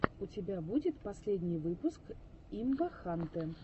у тебя будет последний выпуск имбахантэ